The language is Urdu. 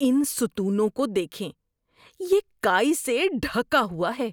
ان ستونوں کو دیکھیں۔ یہ کائی سے ڈھکا ہوا ہے۔